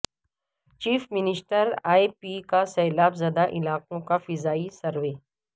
chief minister A P کا سیلاب زدہ علاقوں کا فضائی سروے